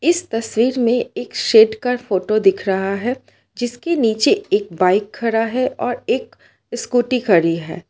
इस तस्वीर में एक शेड का फोटो दिख रहा है जिसके नीचे एक बाइक खड़ा है और एक स्कूटी खड़ी है।